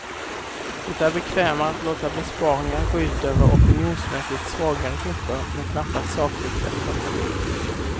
Det är bekvämare att låta besparingar gå ut över opinionsmässigt svagare grupper, men knappast sakligt bättre.